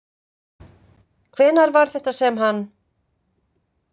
Hvenær var þetta sem hann.